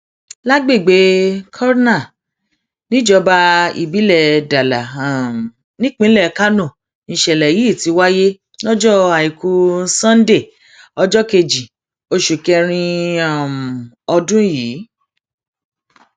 lágbègbè kurna níjọba ìbílẹ dala um nípínlẹ kánó nìṣẹlẹ yìí ti wáyé lọjọ àìkú sanńdé ọjọ kejì oṣù kẹrin um ọdún yìí